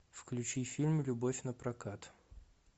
включи фильм любовь напрокат